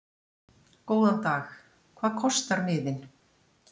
Góðan dag. Hvað kostar miðinn?